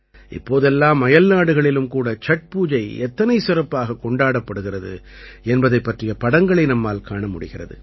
இப்போதெல்லாம் அயல்நாடுகளிலும் கூட சட்பூஜை எத்தனை சிறப்பாகக் கொண்டாடப்படுகிறது என்பதைப் பற்றிய படங்களை நம்மால் காண முடிகிறது